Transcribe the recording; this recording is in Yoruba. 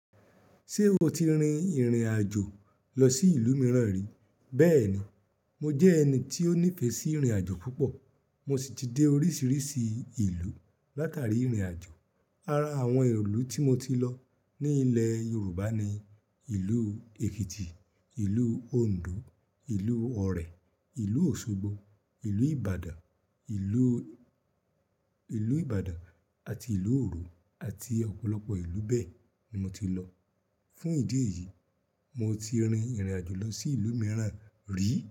Ṣé o ti rin ìrìn àjò lọ sí ìlú mìíràn rí? Bẹ́ẹ̀ni, mo jẹ́ ẹni tí ó nífẹ̀ẹ́ sí ìrìn àjò púpọ̀. Mo sì ti dé oríṣiríṣi ìlú látàrí ìrìn àjò. Ara àwọn ìlú tí mo ti lọ ní ilẹ̀ Yorùbá ni: Ìlú Èkìtì, Ìlú Òǹdó, Ìlú Ọ̀rẹ̀, Ìlú Òṣogbo, ìlú Ìbàdàn, ìlú, ìlú Ìbàdàn àti ìlú Oòrò àti ọ̀pọ̀lọpọ̀ ìlú bẹ́ẹ̀ ni mo ti lọ. Fún ìdí èyí, mo ti rin ìrìn àjò lọ sí ìlú mìíràn rí.